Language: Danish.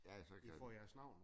Ja så kan de